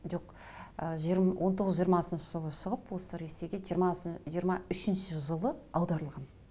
жоқ ы он тоғыз жиырмасыншы жылы шығып осы ресейге жиырма үшінші жылы аударылған